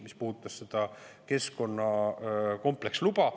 Pean silmas seda keskkonnakompleksluba.